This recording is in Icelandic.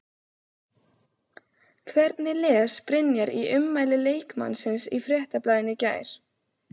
Hvernig les Brynjar í ummæli leikmannsins í Fréttablaðinu í gær?